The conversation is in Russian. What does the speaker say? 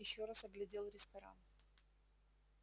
ещё раз оглядел ресторан